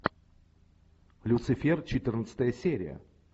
люцифер четырнадцатая серия